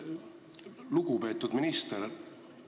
Lugupeetud minister!